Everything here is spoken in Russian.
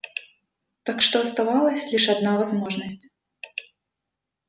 так что оставалась лишь одна возможность